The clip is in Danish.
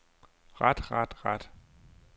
ret ret ret